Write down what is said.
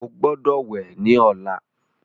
o gbódò wẹ ní ọlá.